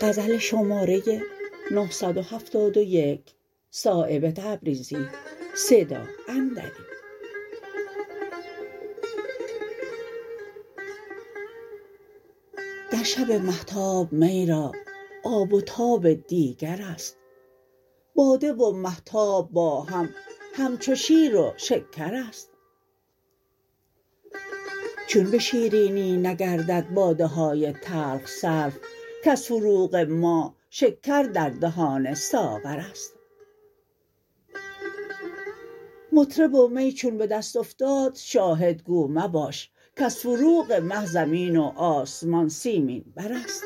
در شب مهتاب می را آب و تاب دیگرست باده و مهتاب با هم همچو شیر و شکرست چون به شیرینی نگردد باده های تلخ صرف کز فروغ ماه شکر در دهان ساغرست مطرب و می چون به دست افتاد شاهد گو مباش کز فروغ مه زمین و آسمان سیمین برست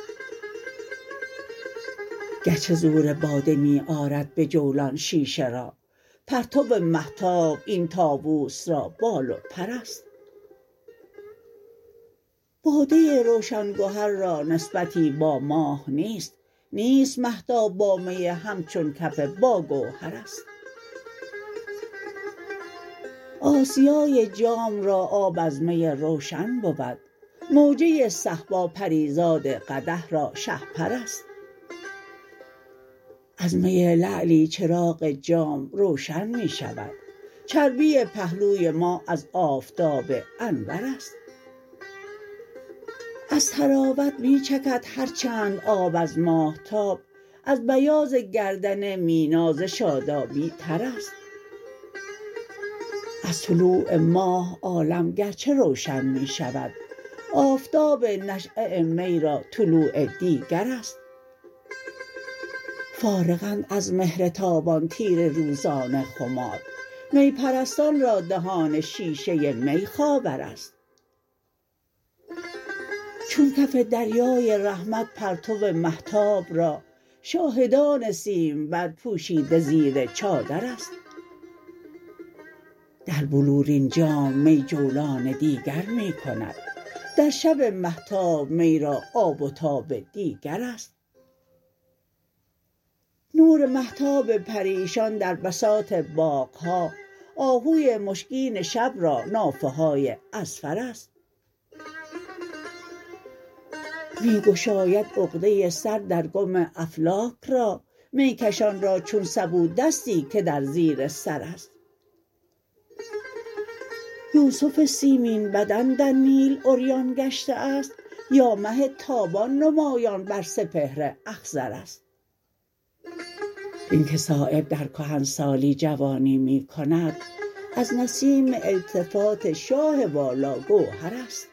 گرچه زور باده می آرد به جولان شیشه را پرتو مهتاب این طاوس را بال و پرست باده روشن گهر را نسبتی با ماه نیست نیست مهتاب با می همچو کف با گوهرست آسیای جام را آب از می روشن بود موجه صهبا پریزاد قدح را شهپرست از می لعلی چراغ جام روشن می شود چربی پهلوی ماه از آفتاب انورست از طراوت می چکد هر چند آب از ماهتاب از بیاض گردن مینا ز شادابی ترست از طلوع ماه عالم گرچه روشن می شود آفتاب نشأه می را طلوع دیگرست فارغند از مهر تابان تیره روزان خمار می پرستان را دهان شیشه می خاورست چون کف دریای رحمت پرتو مهتاب را شاهدان سیمبر پوشیده زیر چادرست در بلورین جام می جولان دیگر می کند در شب مهتاب می را آب و تاب دیگرست نور مهتاب پریشان در بساط باغ ها آهوی مشکین شب را نافه های اذفرست می گشاید عقده سر در گم افلاک را میکشان را چون سبو دستی که در زیر سرست یوسف سیمین بدن در نیل عریان گشته است یا مه تابان نمایان بر سپهر اخضرست این که صایب در کهنسالی جوانی می کند از نسیم التفات شاه والا گوهرست